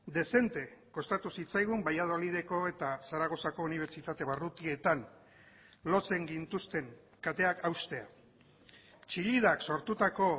dezente kostatu zitzaigun valladolideko eta zaragozako unibertsitate barrutietan lotzen gintuzten kateak haustea chillidak sortutako